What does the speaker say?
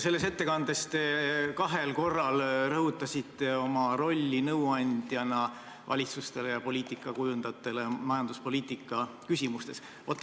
Selles ettekandes rõhutasite te kahel korral oma rolli nõuandjana valitsusele ja poliitikakujundajatele majanduspoliitika küsimustes.